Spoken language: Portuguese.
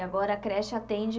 E agora a creche atende